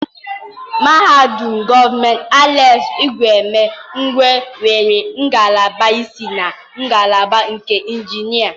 Mahadum gọọmenti Alex Ekwueme Ikwo nwere ngalaba ise na ngalaba nke Injinia.